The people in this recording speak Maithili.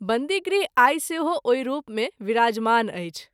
बंदीगृह आई सेहो ओहि रूप मे विराजमान अछि।